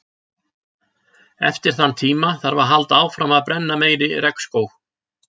Eftir þann tíma þarf að halda áfram að brenna meiri regnskóg.